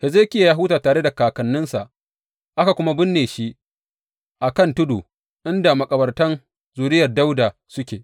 Hezekiya ya huta tare da kakanninsa, aka kuma binne shi a kan tudu inda makabartan zuriyar Dawuda suke.